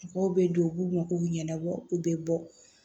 Mɔgɔw bɛ don u b'u mago ɲɛnabɔ u bɛ bɔ